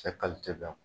Cɛ